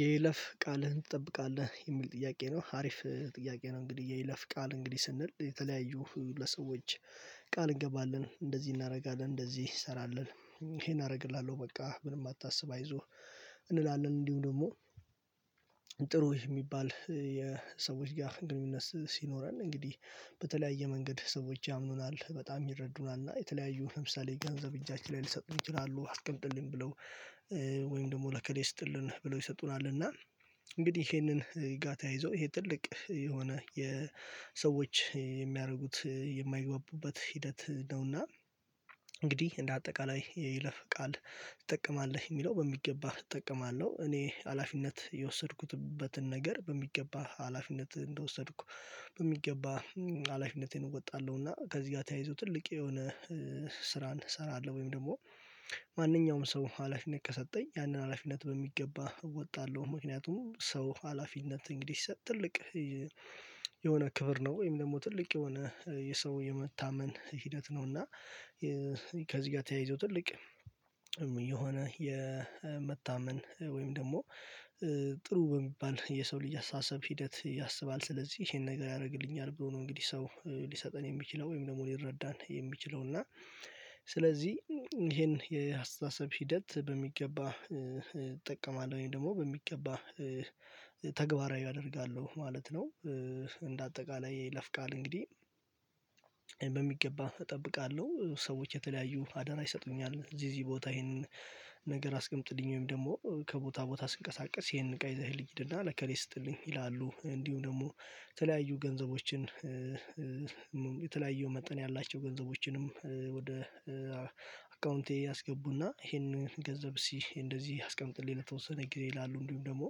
የይለፍ ቃልህን ትጠብቃለህ የሚል ጥያቄ ነው አሪፍ ጥያቄ ነው። እንግዲህ የይለፍ ቃል እንግዲህ ስንል የተለያዩ ግለሰቦች። ቃል እንገባለን እንደዚህ እናደርጋለን እንደዚህ እሰራለን ይሄን አደርግልሃለሁ በቃ ምንም አታስብ አይዞህ እንላለን እንዲሁም ደግሞ። ጥሩ የሚባል የሰዎች ጋር ግንኙነት ሲኖረን እንግዲህ በተለያየ መንገድ ሰዎች ያምኑናል በጣም ይረዱናል እና የተለያዩ ለምሳሌ ገንዘብ እጃችን ላይ ሊሰጡን ይችላሉ አስቀምጥልኝ ብለው። ወይም ደግሞ ለከሌ ይስጥልን ብለው ይሰጡናል። እና እንግዲህ ይሄንን ጋር ተያይዞ ይሄ ትልቅ የሆነ የሰዎች የሚያደርጉት የማይግባቡበት ሂደት ነውና። እንግዲህ እንደ አጠቃላይ የይለፍ ቃል ትጠቀማለህ የሚለው በሚገባህ እጠቀማለሁ እኔ ሀላፊነት የወሰድኩትበትን ነገር በሚገባህ ሀላፊነት እንደወሰድኩ በሚገባ ሀላፊነቴን እወጣለሁ። እና ከዚህ ጋር ተያይዞ ትልቅ የሆነ ስራን እሰራለሁ። ወይም ደግሞ ማንኛውም ሰው ሀላፊነት ከሰጠኝ ያንን ሀላፊነት በሚገባ ወጣለሁ ምክንያቱም ሰው ሀላፊነት እንግዲህ ሲሰጥ ትልቅ የሆነ ክብር ነው። ወይም ደግሞ ትልቅ የሆነ የሰው የመታመን ሂደት ነው። እና ከዚህ ጋር ተያይዞ ትልቅ የሆነ የመታመን ወይም ደግሞ ጥሩ በሚባል የሰው ልጅ አሳሰብ ሂደት ያሰባል ስለዚህ ይሄን ነገር ያደርግልኛል ብሎ ነው። እንግዲህ ሰው ሊሰጠን የሚችለው ወይም ደግሞ ሊረዳን የሚችለው እና ስለዚህ ይሄን የአስተሳሰብ ሂደት በሚገባ እጠቀማለሁኝ ወይም ደግሞ በሚገባ ተግባራዊ አደርጋለሁ ማለት ነው። እንደ አጠቃላይ የይለፍቃል እንግዲህ በሚገባ እጠብቃለሁ። ሰዎች የተለያዩ አደራ ይሰጡኛል እዚህ እዚህ ቦታ ይሄንን ነገር አስቀምጥልኝ ወይም ደግሞ ከቦታ ቦታ ስንቀሳቀስ ይሄንን እቃ ይዘህልኝ ሂድና ለእከሌ ስጥልኝ ይላሉ። እንዲሁም ደግሞ የተለያዩ ገንዘቦችን የተለያዩ መጠን ያላቸው ገንዘቦችንም ወደ አካውንቴ ያስገቡና ይሄንን ገንዘብ እስቲ እንደዚህ አስቀምጥልኝ ለተወሰነ ጊዜ ይላሉ። እንዲሁም ደግሞ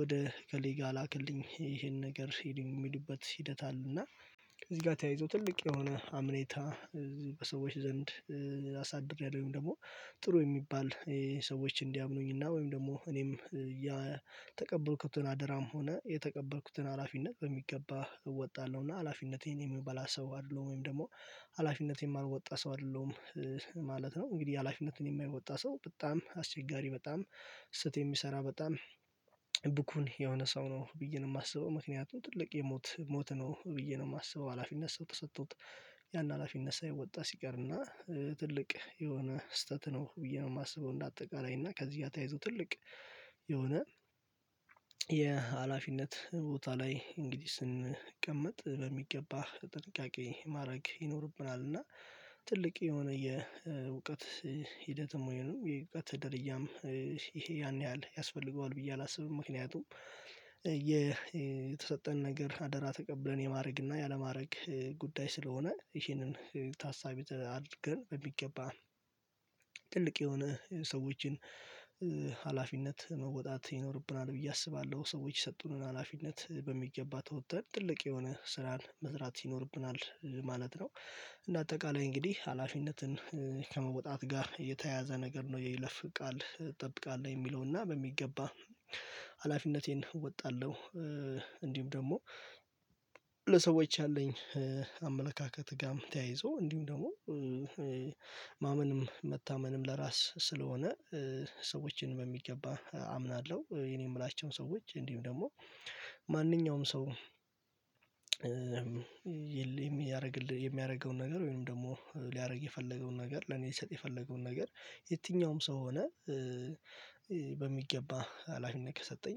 ወደ እከሌ ጋር ላክልኝ ይሄን ነገር ሂድ የሚሉበት ሂደት አለ። እና እዚህ ጋር ተያይዞ ትልቅ የሆነ አምኔታ በሰዎች ዘንድ አሳድሬያለሁ ወይም ደግሞ ጥሩ የሚባል ሰዎች እንዲያምኑኝና ወይም ደግሞ እኔም የተቀበልኩትን አደራም ሆነ የተቀበልኩትን ሀላፊነት በሚገባ እወጣለሁ። እና ሀላፊነቴን የምበላ ሰው አይደለሁም ወይም ደግሞ ሀላፊነቴን የማልወጣ ሰው አይደለሁም ማለት ነው። እንግዲህ ሀላፊነትን የማይወጣ ሰው በጣም አስቸጋሪ በጣም ስህተት የሚሰራ በጣም ብኩን የሆነ ሰው ነው ብዬ ነው የማስበው። ምክንያቱም ትልቅ የሞት ሞት ነው ብዬ ነው የማስበው። ሀላፊነት ሰው ተሰጥቶት ያን ሀላፊነት ሳይወጣ ሲቀርና ትልቅ የሆነ ስህተት ነው ብዬ ነው የማስበው። እንደ አጠቃላይ እና ከዚህ ጋር ተያይዞ ትልቅ የሆነ የሀላፊነት ቦታ ላይ እንግዲህ ስንቀመጥ በሚገባ ጥንቃቄ ማድረግ ይኖርብናል። እና ትልቅ የሆነ የእውቀት ሂደት የመሆኑ የእውቀት ደርያም ይሄ ያን ያህል ያስፈልገዋል ብዬ አላስብም። ምክንያቱም የተሰጠን ነገር አደራ ተቀብለን የማድረግ እና ያለማድረግ ጉዳይ ስለሆነ ይሄንን ታሳቢ አድርገን በሚገባ ጥልቅ የሆነ ሰዎችን ሀላፊነት መወጣት ይኖርብናል ብዬ አስባለሁ። ሰዎች የሰጡንን ሀላፊነት በሚገባ ተወጥተን ትልቅ የሆነ ስራን መስራት ይኖርብናል ማለት ነው። እንደ አጠቃላይ እንግዲህ ሀላፊነትን ከመወጣት ጋር የተያያዘ ነገር ነው የይለፍ ቃል እንጠብቃለን የሚለውና በሚገባ ሀላፊነቴን እወጣለሁ። እንዲሁም ደግሞ ለሰዎች ያለኝ አመለካከት ጋርም ተያይዞ እንዲሁም ደግሞ ማመንም መታመንም ለራስ ስለሆነ ሰዎችን በሚገባ አምናለሁ። የኔ የምላቸውም ሰዎች እንዲሁም ደግሞ ማንኛውም ሰው የሚያደርግልህ የሚያደርገውን ነገር ወይም ደግሞ ሊያደርግ የፈለገውን ነገር ለኔ ሊሰጥ የፈለገውን ነገር የትኛውም ሰው ሆነ በሚገባ ሀላፊነት ከሰጠኝ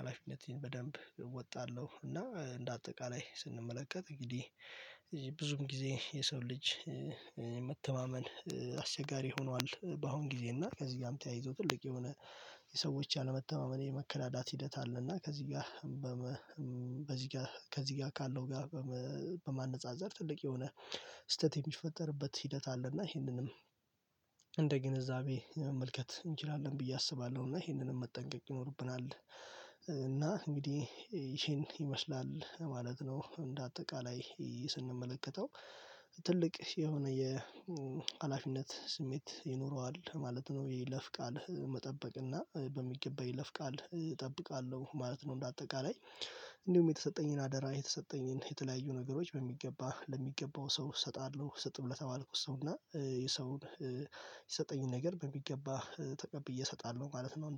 ሀላፊነትን በደንብ እወጣለሁ። እና እንደ አጠቃላይ ስንመለከት እንግዲህ ብዙ ጊዜ የሰው ልጅ መተማመን አስቸጋሪ ሆኗል በአሁን ጊዜ እና ከዚህ ጋርም ተያይዞ ትልቅ የሆነ የሰዎች ያለመተማመን የመከዳዳት ሂደት አለ። እና ከዚህ ጋር በዚህ ጋር ከዚህ ጋር ካለው ጋር በማነፃፀር ትልቅ የሆነ ስህተት የሚፈጠርበት ሂደት አለና ይሄንንም እንደ ግንዛቤ መመልከት እንችላለን ብዬ አስባለሁና ይሄንንም መጠንቀቅ ይኖርብናል። እና እንግዲህ ይሄን ይመስላል ማለት ነው። እንደ አጠቃላይ ስንመለከተው ትልቅ የሆነ የሀላፊነት ስሜት ይኖረዋል ማለት ነው። የለፍ ቃል መጠበቅ እና በሚገባ የለፍ ቃል እጠብቃለሁ ማለት ነው። እንደ አጠቃላይ እንዲሁም የተሰጠኝን አደራ የተሰጠኝን የተለያዩ ነገሮች በሚገባ ለሚገባው ሰው እሰጣለሁ ስጥም ለተባልኩ ሰውና የሰው የሰጠኝን ነገር በሚገባ ተቀብዬ እሰጣለሁ ማለት ነው